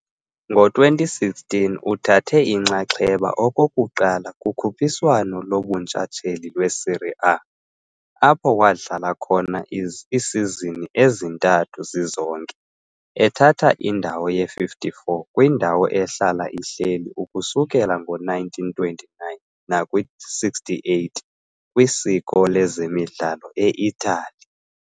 Ngo-2016 uthathe inxaxheba okokuqala kukhuphiswano lobuntshatsheli lweSerie A, apho wadlala khona iisizini ezintathu zizonke, ethatha indawo ye-54 kwindawo ehlala ihleli ukusukela ngo-1929 nakwi-68 kwisiko lezemidlalo e-Itali.